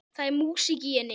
Það er músík í henni.